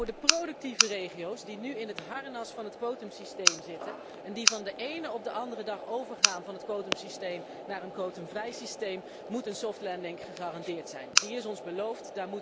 Voor de productieve regio's die nu in het harnas van het quotumsysteem zitten en die van de ene op de andere dag overgaan van het quotumsysteem naar een quotumvrij systeem moet een soft landing gegarandeerd zijn. Die is ons beloofd.